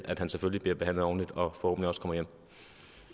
at han selvfølgelig bliver behandlet ordentligt og